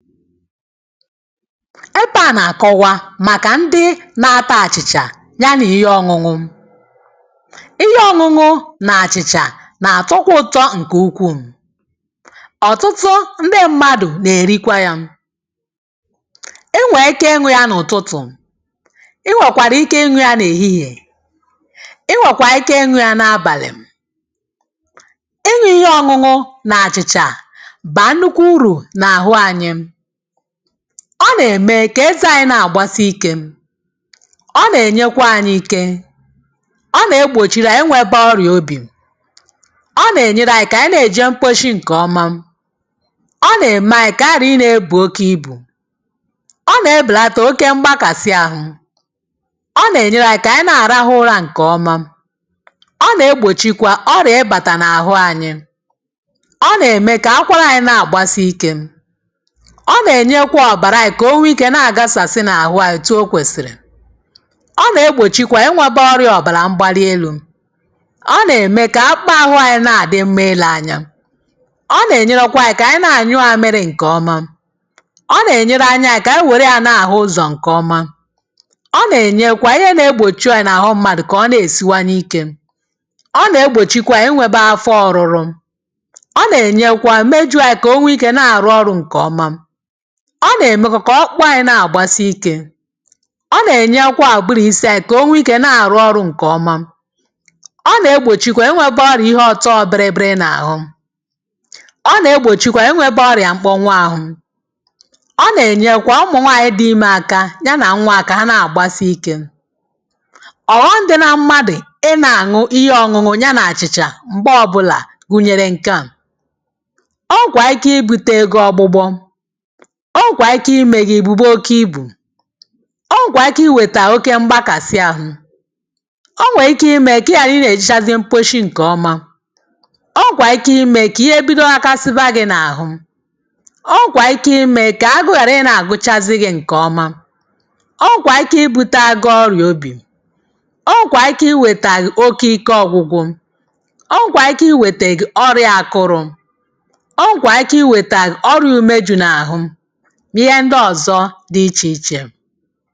ẹbẹ à nà àkọwa màkà ndị na ata àchị̀chà ya nà ihe ọñụñụ ihe ọñụñụ nà àchị̀chà nà àtọkwa ụtọ ǹkẹ̀ ukwù. ọ̀tụtụ ndị mmadù nà èrikwa yā e nwè ike ị ñụ ya n’ụ̀tụtụ̀ ị nwẹ̀kwàrà ike iñū ya n’èhihie ị nwẹ̀kwà ike iñū ya n’abàlì, ị ñụ̄ ihe ọñụñụ nà àchịchà bà nnụkwụ urù n’àhụ anyị ọ nà ẹ̀mẹ kà ẹzẹ̄ anyị nà àgbasi ikē ọ nà ẹ̀nyẹkwa anyị ike ọ nà egbòchi re ẹnwẹ̄ kwa orịà obì ọ nà ẹ̀nyẹrẹ anyị ị jẹ̄ mkposhi ǹkẹ̀ ọma ọ nà ẹ̀mẹ anyị kà ànyị ghàra I bù oke ibù ọ nà ẹbẹ̀lata oke mgbakàsi arụ̄ ọ nà ẹ̀nyẹrẹ anyị kà ànyị nà àrahụ ụrā ǹkẹ̀ ọma ọ nà egbòchikwa orịà ị bàtà n’àhụ anyị ọ nà ẹ̀mẹ̀ kà akwarà anyị nà àgbasi ikē ọ nà ẹ̀nyẹkwa ọ̀bàrà anyị kà o nwe ikē nà àgasàsi n’àhụ anyị out o kwèsì ọ nà egbòchikwa ẹ nwẹbẹ ọrịa ọbàrà mgbalị elū ọ nà ème kà akpụkpọ ahụ anyị nà àdị mma ilē anya ọ nà ènyẹrẹkwa anyị kà ànyị nà ànyụ mamiri ǹkẹ̀ ọma ọ nà ẹ̀nyẹrẹ anya anyị kà ànyị wẹ̀rẹ̀ yā nà àhu uzọ̀ ǹkẹ̀ ọma ọ nà ẹ̀nyẹ kwa ihe nā egbòchi orịa nà àhụ mmadù kà ọ nà èsinwanye ikē ọ nà egbòchikwa ẹnwēbẹ afọ ọrụrụ ọ nà ẹ̀nyẹkwa mmeju kà o nwe ikē nà àrụ ọrụ̄ ǹkẹ̀ ọma ọ nà ẹ̀mẹkwa kà ọkpụkpụ anyị nà àgbasi ikē ọ nà ẹnyẹlụkwa ùburu isī anyị kà o new ikē nà àrụ ọrụ̄ ǹkẹ̀ ọma ọ nà egbòchikwa enwēbe ọrịà ihe ọ̀tọ biri biri n’àhụ ọ nà egbòchikwa enwēbe ọrịà mkpọnwụ ahụ ọ nà ẹ̀nyẹlụkwa ụmụ̀ nwanyị dị̄ Imē aka ya nà nwa hā kà ha nà àgbasị ikē ọ̀ghọm dị na mmadù ị nà ànwụ ihe ọñụñụ ya nà àchị̀chà m̀gbe ọbụlà gunyere ǹkẹ̀ a ọ nwẹ̀kwà ike I bute gị ọgbụgbọ ọ nwèkwà ike ị mē gị ị bùbe oke ibù ọ nwèkwà ike ịwẹ̀tà oke mgbakàsị ahụ ọ nwẹ̀ ike ị mẹ kà ị ghàrà ị nā ẹ̀jẹchazị mposhi ǹkẹ̀ ọma ọ nwẹ̀ ike ị mẹ kà ihe ghakasiba gị̄ nà àhụ ọ nwẹ̀ ike ị mẹ kà agụ ghàra ị gūchazị gị̄ ǹkẹ̀ ọma ọ nwẹ̀kwà ike ị bute agụ ọrịà obì ọ nwẹ̀ ike ị wẹ̀tà gị oke ike ọgwụgwụ ọ nwẹ̀ ike ị wẹ̀tẹ̀ gị ọrịā akụrụ̄ ọ nwẹ̀ ike ị wẹ̀tà gị ọrịā ume jụ̀ n’àhụ nà ihẹ ndị ọ̀zọ dị ichè ichè.